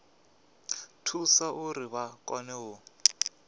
thusa uri vha kone u